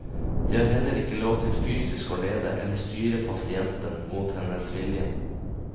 De har heller ikke lov til fysisk å lede eller styre pasienten mot hennes vilje.